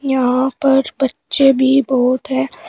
यहां पर बच्चे भी बहुत हैं।